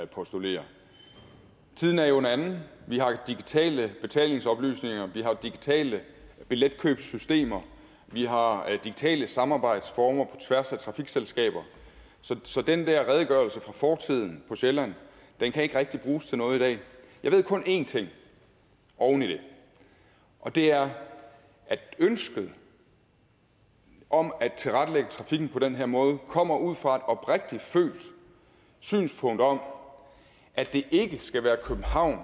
postulerer tiden er jo en anden vi har digitale betalingsoplysninger vi har digitale billetkøbssystemer vi har digitale samarbejdsformer tværs af trafikselskaber så den der redegørelse for fortiden på sjælland kan ikke rigtig bruges til noget i dag jeg ved kun én ting oven i det og det er at ønsket om at tilrettelægge trafikken på den her måde kommer ud fra et oprigtigt følt synspunkt om at det ikke skal være københavn